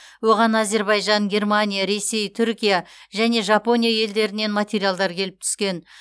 оған әзербайжан германия ресей түркия және жапония елдерінен материалдар келіп түскен